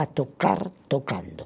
a tocar tocando.